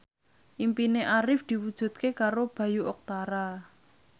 impine Arif diwujudke karo Bayu Octara